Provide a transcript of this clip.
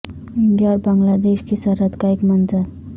India اور Bangladesh کی سرحد کا ایک منظر